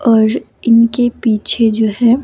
और इनके पीछे जो है।